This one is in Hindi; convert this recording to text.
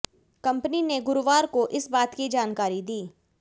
कंपनी ने गुरुवार को इस बात की जानकारी दी